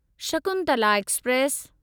Shakuntala express